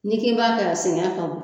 N'i k'i b'a kɛ sɛgɛn ka bon